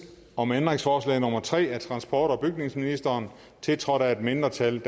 om ændringsforslag nummer tre af transport og bygningsministeren tiltrådt af et mindretal